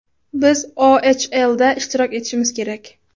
Biz OChLda ishtirok etishimiz kerak.